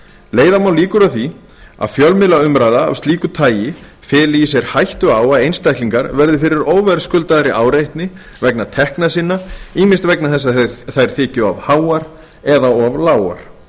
leiða má líkur að því að fjölmiðlaumræða af slíku tagi feli í sér hættu á að einstaklingar verði fyrir óverðskuldaðri áreitni vegna tekna sinna ýmist vegna þess að þær þyki of háar eða of lágar